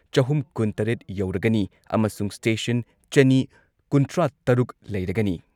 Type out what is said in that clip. ꯆꯍꯨꯝ ꯀꯨꯟꯇꯔꯦꯠ ꯌꯧꯔꯒꯅꯤ ꯑꯃꯁꯨꯡ ꯁ꯭ꯇꯦꯁꯟ ꯆꯅꯤ ꯀꯨꯟꯊ꯭ꯔꯥꯇꯔꯨꯛ ꯂꯩꯔꯒꯅꯤ